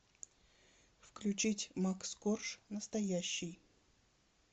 включить макс корж настоящий